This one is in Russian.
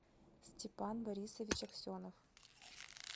степан борисович аксенов